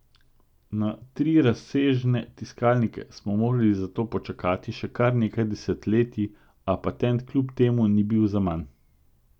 Na trirazsežne tiskalnike smo morali zato počakati še kar nekaj desetletij, a patent kljub temu ni bil zaman.